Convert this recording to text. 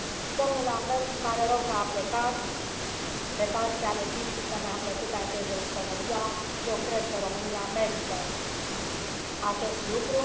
Domnul Lamberts, îmi pare rău că a plecat, pe partea logistică, mi a plăcut acest Jos pălăria eu cred că România merită acest lucru.